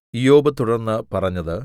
ഇയ്യോബ് തുടർന്ന് പറഞ്ഞത്